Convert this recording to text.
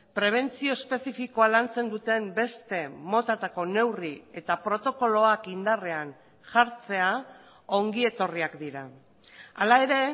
prebentzio espezifikoa lantzen duten beste motatako neurri eta protokoloak indarrean jartzea ongi etorriak dira hala ere